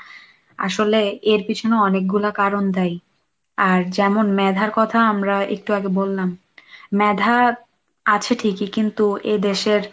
আসলে এর পিছনে অনেকগুলো কারণ দায়ী, আর যেমন মেধার কথা আমরা একটু আগে বললাম, মেধা আছে ঠিকই কিন্তু এই দেশের